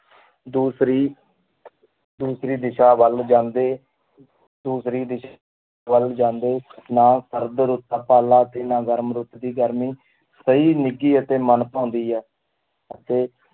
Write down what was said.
ਦੂਸਰੀ ਦੂਸਰੀ ਦਿਸ਼ਾ ਵੱਲ ਜਾਂਦੇ ਦੂਸਰੀ ਦਿਸ਼~ ਵੱਲ ਜਾਂਦੇ ਨਾ ਸਰਦ ਰੁੱਤ ਦਾ ਪਾਲਾ ਤੇ ਨਾ ਗਰਮ ਰੁੱਤ ਦੀ ਗਰਮੀ ਸਹੀ ਨਿੱਘੀ ਅਤੇ ਮਨ ਭਾਉਂਦੀ ਹੈ ਤੇ